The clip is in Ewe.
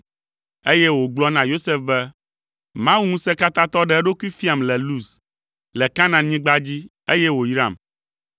eye wògblɔ na Yosef be, “Mawu Ŋusẽkatãtɔ ɖe eɖokui fiam le Luz, le Kanaanyigba dzi, eye wòyram.